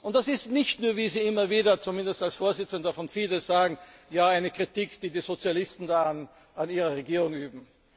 Das ist nicht nur, wie Sie immer wieder zumindest als Vorsitzender des Fidesz sagen, eine Kritik, die die Sozialisten an Ihrer Regierung üben.